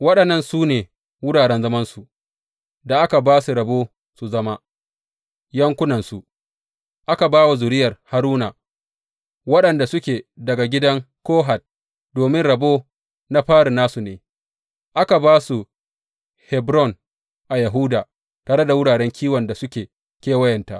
Waɗannan su ne wuraren zamansu da aka ba su rabo su zama yankunansu aka ba wa zuriyar Haruna waɗanda suke daga gidan Kohat, domin rabo na fari nasu ne: Aka ba su Hebron a Yahuda tare da wuraren kiwon da suke kewayenta.